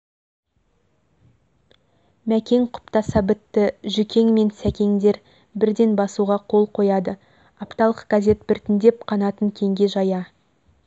мәкең құптаса бітті жүкең мен сәкеңдер бірден басуға қол қояды апталық газет біртіндеп қанатын кеңге жая